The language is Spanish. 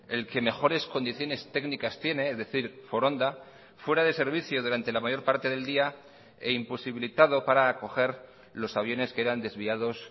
el que mejores condiciones técnicas tiene es decir foronda fuera de servicio durante la mayor parte del día e imposibilitado para acoger los aviones que eran desviados